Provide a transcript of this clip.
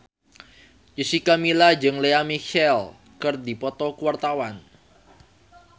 Jessica Milla jeung Lea Michele keur dipoto ku wartawan